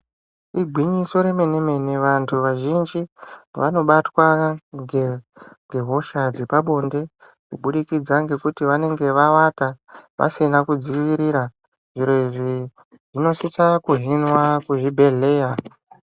Igwinyiso remene mene vanthu vazhinji vanobatwa ngehosha dzepabonde kubudikidza ngekuti vanenge vavata vasina kudzivirira zviro izvi zvinosisa kuhinwa kuzvibhedhlera.